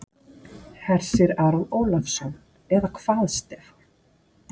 Hersir Aron Ólafsson: Eða hvað Stefán?